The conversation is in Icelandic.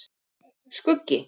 Skuggi